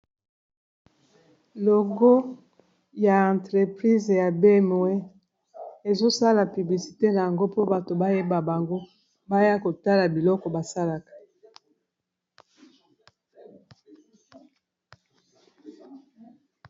logo ya entreprise ya bmwe ezosala piblisite na yango mpo bato bayeba bango baya kotala biloko basalaka